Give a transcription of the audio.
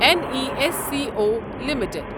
N E S C O limited